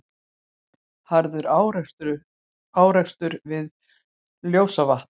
Harður árekstur við Ljósavatn